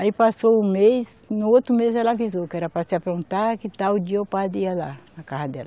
Aí passou o mês, no outro mês ela avisou, que era para se aprontar que tal dia o padre ia lá, na casa dela.